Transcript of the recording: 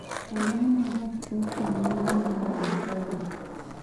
Ang'o ma gach okolomaluwo e tala